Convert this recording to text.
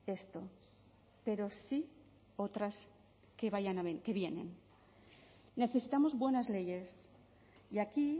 esto pero sí otras que vienen necesitamos buenas leyes y aquí